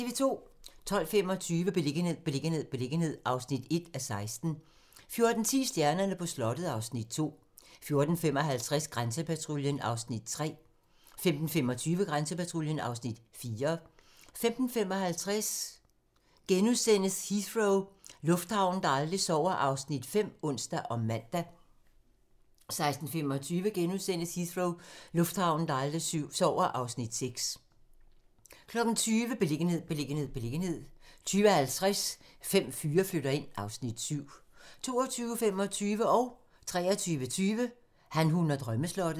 12:25: Beliggenhed, beliggenhed, beliggenhed (1:16) 14:10: Stjernerne på slottet (Afs. 2) 14:55: Grænsepatruljen (Afs. 2) 15:25: Grænsepatruljen (Afs. 3) 15:55: Heathrow - lufthavnen, der aldrig sover (Afs. 5)*(ons og man) 16:25: Heathrow - lufthavnen, der aldrig sover (Afs. 6)* 20:00: Beliggenhed, beliggenhed, beliggenhed 20:50: Fem fyre flytter ind (Afs. 7) 22:25: Han, hun og drømmeslottet 23:20: Han, hun og drømmeslottet